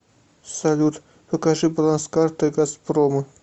салют покажи баланс карты газпрома